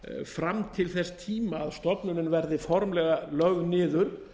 fram til þess tíma að stofnunin verði formlega lögð niður